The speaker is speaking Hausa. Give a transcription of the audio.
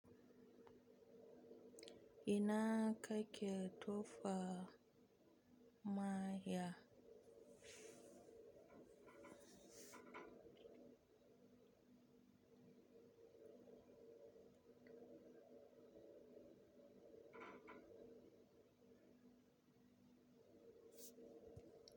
Ina kai kyautar maha.